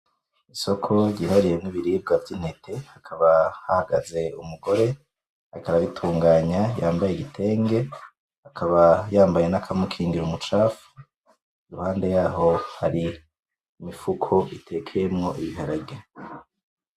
Isoko ryihariyemwo ibiribwa vy'intete hakaba hahagaze umugore ariko arabitunganya yambaye igitenge akaba yambaye n'akamukingira umucafu iruhande yaho hari imifuko itekeyemwo ibiharage.